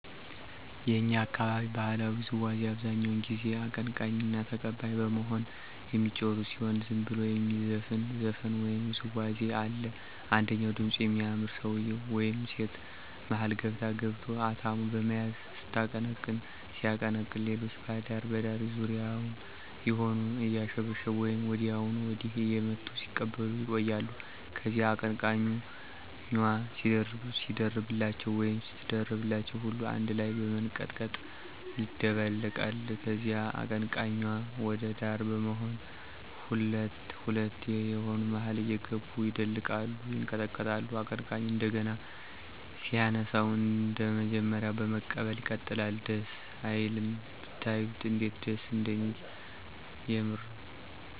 የእኛ አካባቢ ባህላዊ ውዝዋዚ አብዛኛው ጊዜ አቀንቃኝና ተቀባይ በመሆን የሚጫወቱት ሲሆን ዝም ብሎም የሚዘፈን ዘፈን ወይም ውዝዋዜ አለ። አንደኛው ድምጹ የሚያምር ሰውየ ወይም ሴት መሀል ገብቶ/ገብታ አታሞ በመያዝ ስታቀነቅን/ሲያቀነቅን ሌሎች በዳር ዳር ዙሪያውን ይሆኑና አያሸበሸቡ ወይም ወዲያና ወዲህ እየመቱ ሲቀበሉ ይቆያሉ። ከዚያ አቀነቃኙ/ኟ ሲደርብላቸው ወይም ስትደርብላቸው ሁሉም አነድ ላይ በመንቀጥቀጥ ይደልቃሉ። ከዚያ አቀንቃኙ/ኟ ወደ ዳር በመሆን ሁለት ሁለት የየሆኑ መሀል እየገቡ ይደልቃሉ፤ ይንቀጠቀጣሉ። አቀንቃኙ እንደገና ሲያነሳው አንደመጀመሪያው በመቀበል ይቀጥላል። ደስ አይልም?!! ብታዩት እንዴት ደስ እንደሚል የምር።